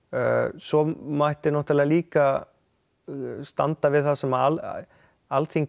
svo mætti náttúrulega líka standa við það sem Alþingi